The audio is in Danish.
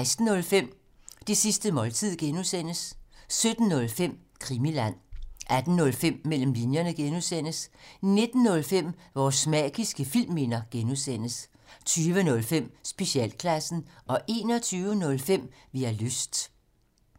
16:05: Det sidste måltid (G) 17:05: Krimiland 18:05: Mellem linjerne (G) 19:05: Vores magiske filmminder (G) 20:05: Specialklassen 21:05: Vi har lyst